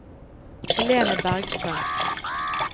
Helene Bergstrøm